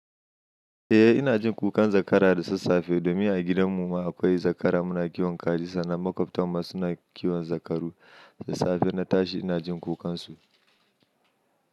Eh ina jin kukan zakara da sassafe domin a gidan mu ma akwai zakara muna kiwon kajin sannan maƙwabtan mu suna kiwon zakaru. Da safe na tashi ina jin kukansu.